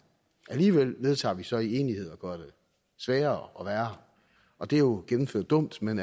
alligevel vedtager vi så i enighed at gøre det sværere og værre og det er jo gennemført dumt men